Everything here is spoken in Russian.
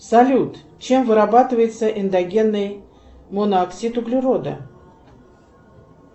салют чем вырабатывается эндогенный монооксид углерода